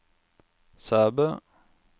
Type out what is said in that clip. Sæbø